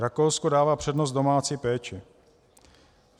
Rakousko dává přednost domácí péči.